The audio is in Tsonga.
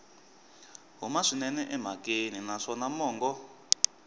huma swinene emhakeni naswona mongo